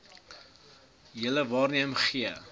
julle waarneem gee